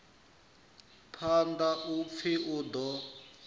phanḓa u pfi u ḓo